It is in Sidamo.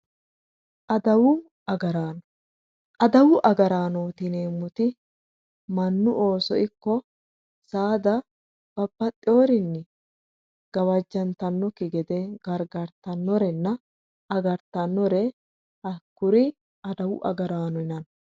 Adawu agaraano, adawu agaraanoti yineemmoti mannu Ooso ikko saada babbaxxeworinni gawajjantannokki gede gargartannorenna agartannore hakkuri adawu agaraano yinanni.